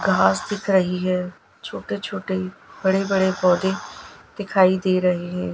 घास दिख रही है छोटे छोटे बड़े बड़े पौधे दिखाई दे रहे हैं।